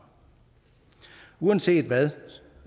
uanset hvad